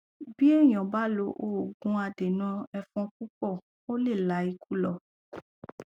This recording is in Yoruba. bí èèyàn bá lo òògùn adènà ẹfọn púpọ ó lè la ikú lọ